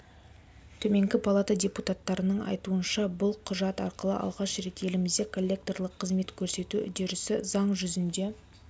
төменгі палата депутаттарының айтуынша бұл құжат арқылы алғаш рет елімізде коллекторлық қызмет көрсету үдерісі заң жүзінде